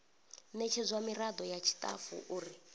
ṋetshedzwa miraḓo ya tshiṱafu uri